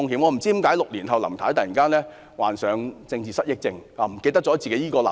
"我不知道為何6年後林太突然患上政治失憶症，忘記了她的這個立場。